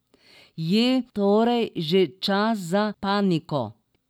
Je torej že čas za paniko?